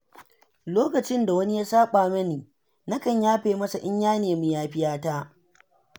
Lokacin da wani ya saɓa mani, nakan yafe masa in ya nemi yafiyata..